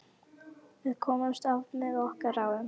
Við komumst af með okkar ráðum.